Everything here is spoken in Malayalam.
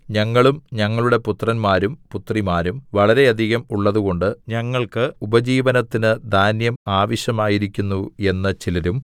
ഞങ്ങളും ഞങ്ങളുടെ പുത്രന്മാരും പുത്രിമാരും വളരെയധികം ഉള്ളതുകൊണ്ട് ഞങ്ങൾക്ക് ഉപജീവനത്തിന് ധാന്യം ആവശ്യമായിരിക്കുന്നു എന്ന് ചിലരും